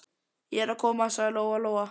Ég er að koma, sagði Lóa Lóa.